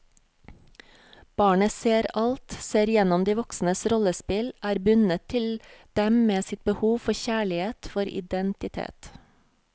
Barnet ser alt, ser igjennom de voksnes rollespill, er bundet til dem med sitt behov for kjærlighet, for identitet.